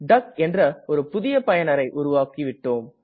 டக் என்ற ஒரு புதிய பயனரை உருவாக்கிவிட்டோம்